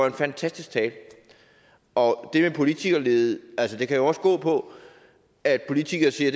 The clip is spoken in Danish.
en fantastisk tale og det med politikerlede kan jo også gå på at politikere siger